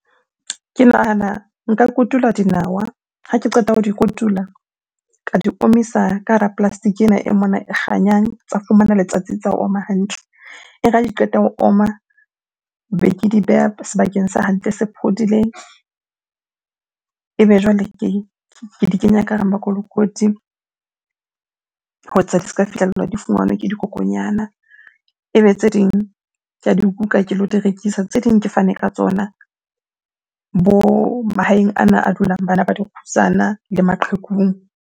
Ke nahana nka kotula dinawa. Ha ke qeta ho di kotula ka di omisa ka hara plastic-e ena e mona e kganyang tsa fumana letsatsi, tsa oma hantle. E re ha di qeta ho oma, be ke di beha sebakeng se hantle se phodileng. Ebe jwale ke di kenya ka hara makolokoti ho etsa di ska fihlellwa, di fumanwe ke dikokonyana. Ebe tse ding ke di kuka, ke lo di rekisa. Tse ding ke fane ka tsona bo mahaeng ana a dulang bana ba dikgutsana le maqhekung.